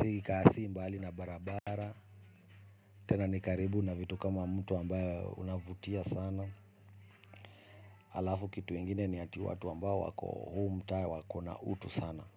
Si kasi mbali na barabara. Tena nikaribu na vitu kama mto ambayo unavutia sana. Alafu kitu ingine ni hati watu ambao wako huu mta wakona utu sana.